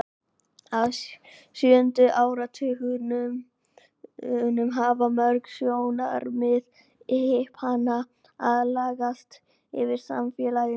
frá sjöunda áratugnum hafa mörg sjónarmið hippanna aðlagað sig að samfélaginu